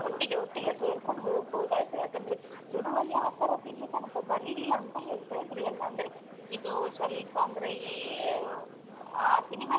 ಒಟ್ಟಿಗೆ ಒಟ್ಟಿಗೆ ಸೇರ್ಕೊಂಡು ಹೋಗ್ಬಹುದಾಯ್ತಾ ಯಾಕಂದ್ರೆ ತುಳುವಲ್ಲಿ ಆತರದ್ ಇಲ್ಲಿ ತನಕ ಬರ್ಲಿಲ್ಲಾ ಅಂತ ಹೇಳ್ತಾ ಇದ್ರು ಎಲ್ಲ ಅಂದ್ರೆ ಇದು ಸ್ವಲ್ಪ ಅಂದ್ರೆ ಈ ಆ cinema .